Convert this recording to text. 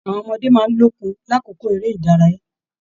Àwọn ọmọdé máa n lókun l'akoko eré ìdárayá.